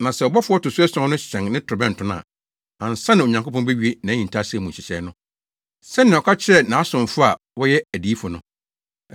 Na sɛ ɔbɔfo a ɔto so ason no hyɛn ne torobɛnto no a, ansa na Onyankopɔn bewie nʼahintasɛm mu nhyehyɛe no, sɛnea ɔka kyerɛɛ nʼasomfo a wɔyɛ adiyifo no.”